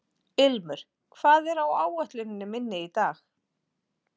Ilmur, hvað er á áætluninni minni í dag?